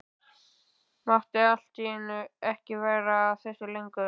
Mátti allt í einu ekki vera að þessu lengur.